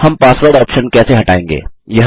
हम password option कैसे हटायेंगे